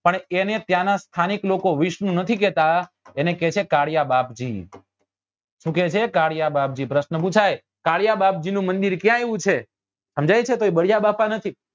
પણ એને ત્યાં નાં સ્થાનિક લોકો વિષ્ણુ નથી કેતા એને કે છે કાળીયા બાપજી શું કે છે કાળીયા બાપજી પ્રશ્ન પુછાય કાળીયા બાપજી નું મંદિર ક્યા આવ્યું છે સમજાય છે બલીયાબાપા નથી